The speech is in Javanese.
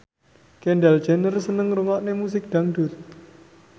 Kendall Jenner seneng ngrungokne musik dangdut